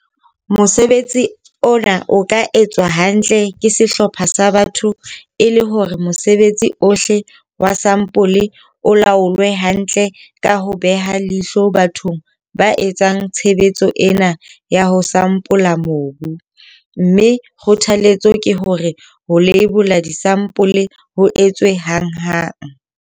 Mosebetsi ona o ka etswa hantle ke sehlopha sa batho e le hore mosebetsi ohle wa sampole o laolwe hantle ka ho beha leihlo bathong ba etsang tshebetso ena ya ho sampola mobu, mme kgothaletso ke hore ho leibola disampole ho etswe hanghang.